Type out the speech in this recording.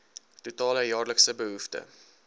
totale jaarlikse behoefte